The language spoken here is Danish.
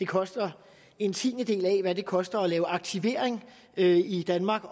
koster en tiendedel af hvad det koster at lave aktivering i danmark